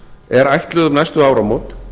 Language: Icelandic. er ætluð um næstu áramót